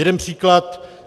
Jeden příklad.